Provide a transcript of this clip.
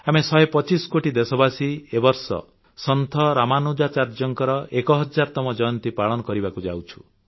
ଆମେ ୧୨୫ କୋଟି ଦେଶବାସୀ ଏ ବର୍ଷ ସନ୍ଥ ରାମାନୁଜାଚାର୍ଯ୍ୟଙ୍କର ଏକ ହଜାର ତମ ଜୟନ୍ତୀ ପାଳନ କରିବାକୁ ଯାଉଛୁ